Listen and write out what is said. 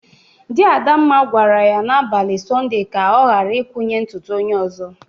Di Adamma gwara ya n'abalị sọnde ka o gara ikwanye ntụtụ onye ọzọ.!